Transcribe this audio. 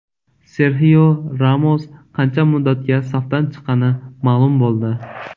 Serxio Ramos qancha muddatga safdan chiqqani ma’lum bo‘ldi.